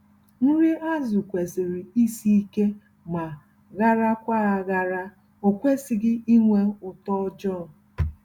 Nri azụ kwesịrị isi ike ma harakwa-ahara- okwesịghị ịnwe ụtọ ọjọọ.